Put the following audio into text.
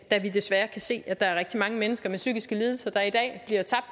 da vi desværre kan se at der er rigtig mange mennesker med psykiske lidelser der er